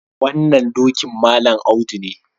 Wannan dokin Malam Audu ne.